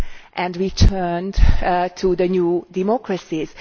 and returned to the new democracies.